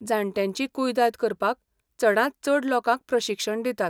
जाण्ट्यांची कुयदाद करपाक चडांत चड लोकांक प्रशिक्षण दितात.